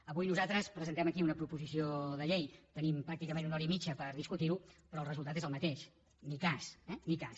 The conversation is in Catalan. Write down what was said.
avui nosaltres presentem aquí una proposició de llei tenim pràcticament una hora i mitja per discutir·ho però el resultat és el mateix ni cas eh ni cas